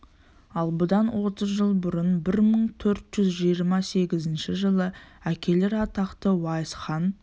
ал бұдан отыз жыл бұрын бір мың төрт жүз жиырма сегізінші жылы әкелері атақты уайс хан